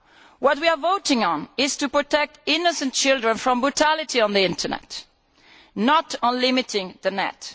What we are voting on is the protection of innocent children from brutality on the Internet, not on limiting the Net.